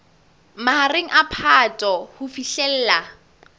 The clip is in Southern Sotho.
mahareng a phato ho fihlela